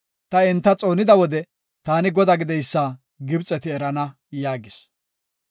Ta enta xoonida wode, taani Godaa gideysa Gibxeti erana” yaagis.